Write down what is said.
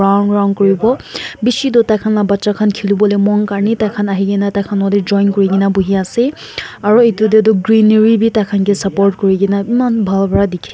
Round round kuribo beshi tu tai khan la ka bacha khan khele bo lemom karne tai khan ahi kena ne tai khan lo ko tey join kuri kena buhai ase aro etu tay tu greenery bei saport kuri kena ema bhal bra dekhe.